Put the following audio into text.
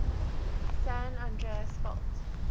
san andreas fault